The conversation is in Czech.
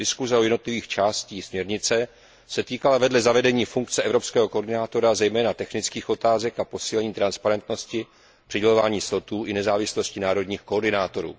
Diskuse o jednotlivých částech směrnice se vedle zavedení funkce evropského koordinátora týkala zejména technických otázek a posílení transparentnosti přidělování slotů i nezávislosti národních koordinátorů.